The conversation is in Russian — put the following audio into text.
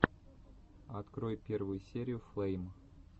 открой первую серию флэйм